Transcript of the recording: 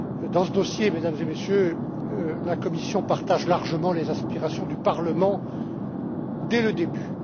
Dans ce dossier, Mesdames et Messieurs, la Commission partage largement les aspirations du Parlement depuis le début.